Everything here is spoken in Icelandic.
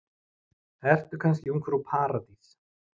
Ertu kannski ungfrú Paradís?